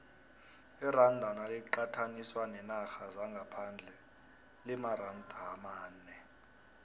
iranda naliqathaniswa neenarha zangaphandle limaranda amane